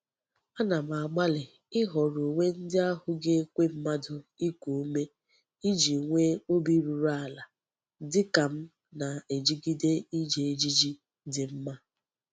Ana m agbali ihoro uwe ndi ahu ga-ekwe mmadu iku ume Iji nwee obi ruru ala dika m na-ejigide Iji ejiji di mma.